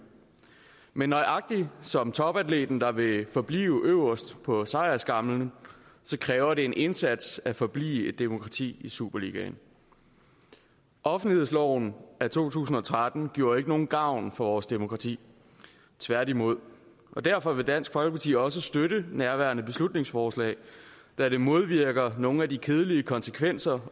men nøjagtig som topatleten der vil forblive øverst på sejrsskamlen kræver det en indsats at forblive et demokrati i superligaen offentlighedsloven af to tusind og tretten gjorde ikke nogen gavn for vores demokrati tværtimod og derfor vil dansk folkeparti også støtte nærværende beslutningsforslag da det modvirker nogle af de kedelige konsekvenser